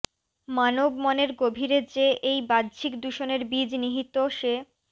মানব মনের গভীরে যে এই বাহ্যিক দূষণের বীজ নিহিত সে